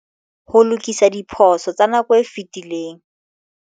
Ho lokisa diphoso tsa nako e fetileng